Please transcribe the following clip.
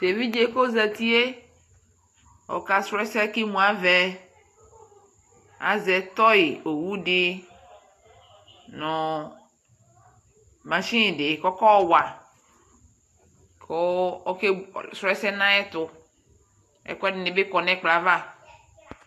tɛvije kozetie ɔkasrɔɛsɛ kemuavɛ azɛ toy owudi no machine di kɔkɔwa ku ɔka srɔ ɛsɛ naɛtu ɛkwɛdinibi kɔ nɛ ɛkplɔ ava